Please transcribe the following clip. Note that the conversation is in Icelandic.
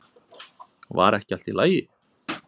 Var ekki allt í lagi?